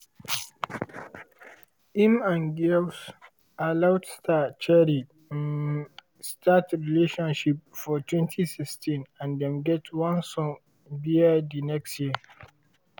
im and girls aloud star cheryl um start relationship for 2016 and dem get one son bear di next year.